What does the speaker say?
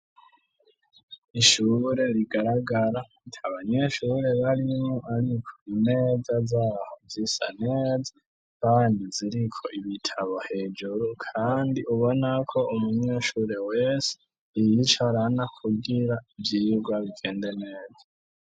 Ishure rigaragara ata banyeshure barimwo ariko imeza zaho zisa neza kandi ziriko ibitabo hejuru kandi ubona ko umunyeshure wese yiyicarana kugira ivyirwa bigende neza.